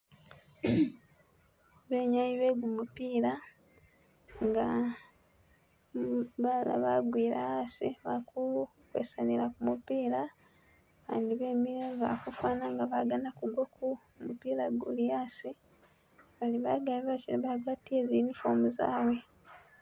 Abenyayi be kumupila nga balala bagwile asi bali kukwesanila kumupila abandi bemile bali khufana nga abagana kugwa ku lupila ululi asi bali bagali bashe bagwatile uniform zabwe.